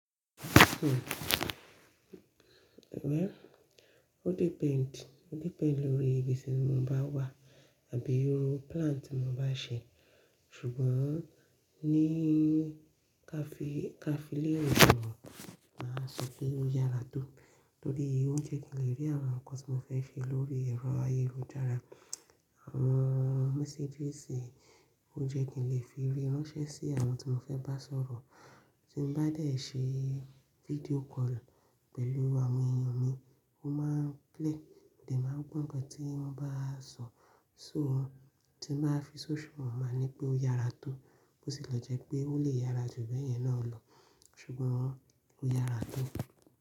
Hmm, well, o depend, o depend lórí ibi tí mo bá wà àbí irú plan tí mo bá ṣe. Ṣùgbọ́n ní cafe cafe lónà, màá sọ pé ó yára tó torí o jẹ́ kí n lè rí àwọn nǹkan tí mo fẹ́ ṣe lórí ẹ̀rọ ayélujára. Àwọn messages o jẹ́ kí n lè fi rí ránṣẹ́ sí àwọn tí mo fẹ́ bá sọ̀rọ̀. Tí n bá dè ṣe video call pẹ̀lú àwọn èèyàn mi, ó máa ń clear. Mo dẹ̀ máa ń gbó nkan tí wọ́n bá sọ, so tí n bá fi social media, màá ní pé ó yára tó bó sì lọ jẹ́ pé ó lè yára jù bẹ́ẹ̀ yẹn náà lọ, ṣùgbọ́n ó yára tó.